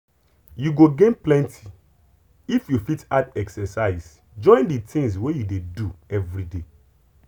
you go gain plenty if you fit add exercise join the things wey you dey do everyday.